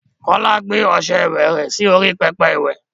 Kọ́lá gbé ọṣẹ ìwẹ rẹ̀ sí orí pẹpẹ iwẹ̀.